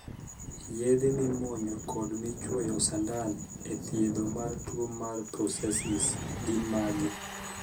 Yedhe mimuonyo kod michuoyo sandan e thiedho tuo mar 'psoriasis' gin magi.